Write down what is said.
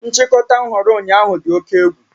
Nchịkọta nhọrọ ụnyaahụ dị oke egwu